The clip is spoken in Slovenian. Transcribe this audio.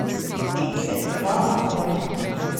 In se igral naprej.